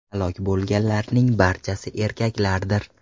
Halok bo‘lganlarning barchasi erkaklardir.